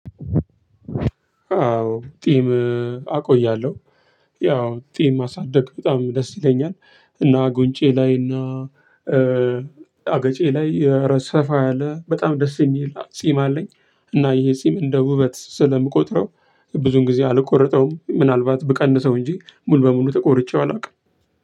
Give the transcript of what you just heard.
አዎ ጺም አቆያለሁ ያው ጺም ማሳደግ በጣም ደስ ይለኛል። እና ጉንጬ ላይ እና አገጬ ላይ ሰፋ ያለ በጣም ደስ የሚል ጺም አለኝ። እና ይሄ ጺም እንደ ውበት ስለምቆጥረው ብዙን ጊዜ አልቆረጠውም። ምናልባት ብቀንሰው እንጂ ሙሉ በሙሉ ተቆርጬው አላውቅም።